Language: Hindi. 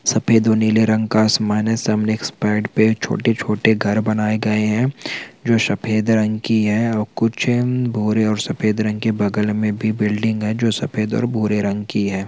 सफेद और नीले रंग का आसमान है सामने एक स्पाईड पे छोटे-छोटे घर बनाये गए है जो सफेद रंग की है और कुछ भूरे और सफेद के बगल में भी बिल्डिंग है जो सफेद और भूरे रंग की है।